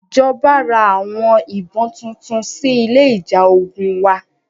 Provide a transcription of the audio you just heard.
Ìjọba ra àwọn ìbọn tuntun sí ilé ìjà ogun wa.